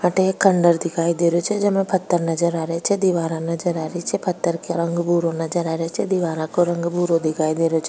अठे एक खण्डहर दिखाई दे रहो छे जेमे पत्थर नजर आ रिया छे दिवारा नजर आ रही छे पत्थर को रंग भुर्रो नजर आ रियो छे दिवारा को रंग भूरो दिखाई दे रियो छे।